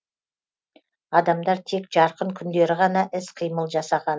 адамдар тек жарқын күндері ғана іс қимыл жасаған